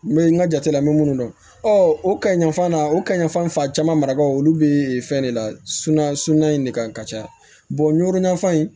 N bɛ n ka jate la n bɛ minnu dɔn o kaɲi yanfan na o kaɲi yanfan fan caman marabagaw olu bɛ fɛn de lasunu a sunan in de kan ka caya n yuro ɲafan in